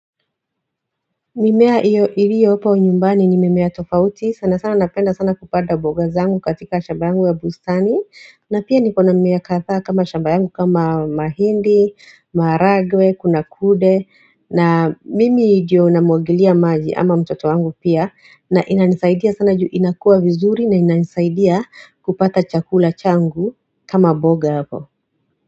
Mimea hiyo iliyopo nyumbani ni mimea tofauti sana sana napenda sana kupanda mboga zangu katika shamba yangu ya bustani na pia nikona mimea kadhaa kama shambayangu kama mahindi, maharagwe, kuna kude na mimi ndio namwagilia maji ama mtoto wangu pia na ina nisaidia sana juu inakuwa vizuri na ina nisaidia kupata chakula changu kama mboga hapo.